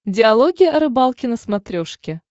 диалоги о рыбалке на смотрешке